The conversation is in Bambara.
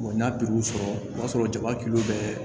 n'a piluw sɔrɔ o b'a sɔrɔ jaba bɛ